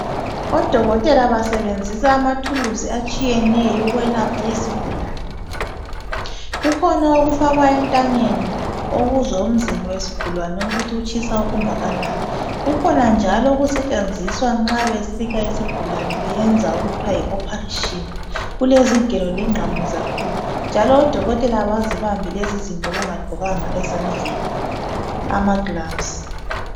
Odokotela basebenzisa amathuluzi atshiyeneyo ukwelapha izigulani. Kukhona okufakwa entanyeni okuzwa umzimba wesigulani ukuthi utshisa okungakanani. Kukhona njalo okusetshenziswa nxa besika isigulani beyenza okuthwa yi operation kulezigelo lengqamu zakhona, njalo odokotela abazibambi lezizinto bengagqokanga lutho ezandleni amagloves.